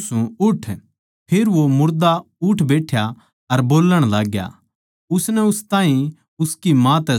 फेर वो मुर्दा उठ बैठ्या बोल्लण लाग्या उसनै उस ताहीं उसकी माँ तै सौंप दिया